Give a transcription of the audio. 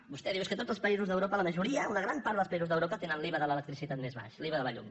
vostè diu és que tots els països d’europa la majo·ria una gran part dels països d’europa tenen l’iva de l’electricitat més baix l’iva de la llum